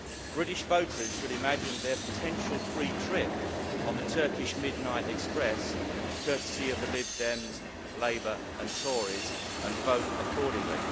British voters should imagine their potential free trip on the Turkish Midnight Express courtesy of the Lib Dems, Labour and Tories, and vote accordingly.